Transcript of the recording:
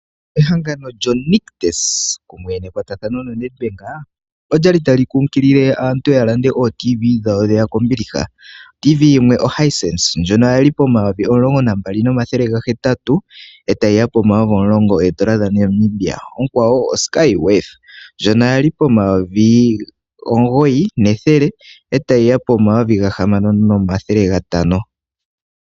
Ehangano lyonictus kumwe nekwatathano lya Netbank olyali tali kunkilele aantu yalande ooTV dhawo dheya kombiliha . OTV yimwe oHisense ndjono yali po N$ 12800 etayiya po N$ 10000 onkwawo oSkyworth ndjono yali po N$ 9100 etayiya po N$ 6500.